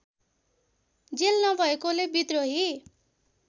jail नभएकोले विद्रोही